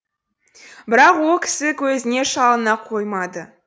бірақ о кісі көзіне шалына қоймады